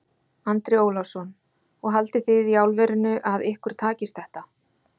Andri Ólafsson: Og haldið þið í alvörunni að ykkur takist þetta?